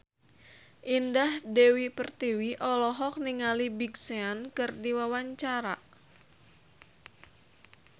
Indah Dewi Pertiwi olohok ningali Big Sean keur diwawancara